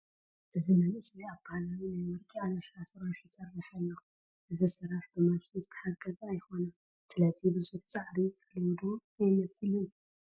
እዚ መንእሰይ ኣብ ባህላዊ ናይ ወርቂ ኣለሻ ስራሕ ይሰርሕ ኣሎ፡፡ እዚ ስራሕ ብማሽን ዝተሓገዘ ኣይኮነን፡፡ ስለዚ ብዙሕ ፃዕሪ ዝጠልብ ዶ ኣይመስልን?